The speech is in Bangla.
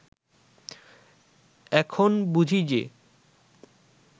এখন বুঝি যে